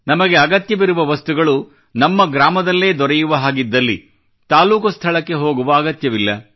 ನಮಗೆ ಅಗತ್ಯವಿರುವ ವಸ್ತುಗಳು ನಮ್ಮ ಗ್ರಾಮದಲ್ಲೇ ದೊರೆಯುವ ಹಾಗಿದ್ದಲ್ಲಿ ತಾಲ್ಲೂಕು ಸ್ಥಳಕ್ಕೆ ಹೋಗುವ ಅಗತ್ಯವಿಲ್ಲ